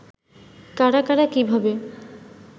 কারা কারা কিভাবে